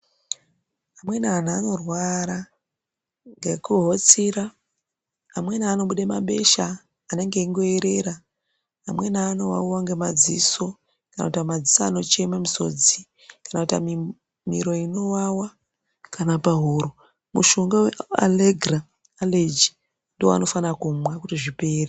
Amweni anhu anorwara ,ngekuhotsira amweni anobude mabesha anenge eingoeerera, amweni anowawiwa ngemadziso ,kana kuita madziso anocheme misodzi kana kuti amwe miro inowawa kana pahuro, mushonga wealegira aleji ndiwo waanofana kumwa kuti zvipere.